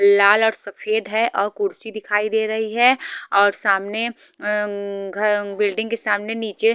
लाल और सफेद है और कुर्सी दिखाई दे रही है और सामने उम बिल्डिंग के सामने नीचे--